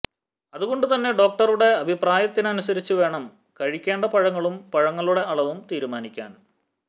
അതുകൊണ്ടു തന്നെ ഡോക്ടറുടെ അഭിപ്രായത്തിനനുസരിച്ച് വേണം കഴിക്കേണ്ട പഴങ്ങളും പഴങ്ങളുടെ അളവും തീരുമാനിക്കാൻ